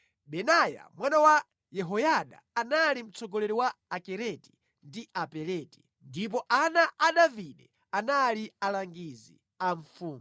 Benaya mwana wa Yehoyada anali mtsogoleri wa Akereti ndi Apeleti, ndipo ana a Davide anali alangizi a mfumu.